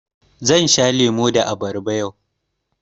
Zan sha lemu da abarba yau.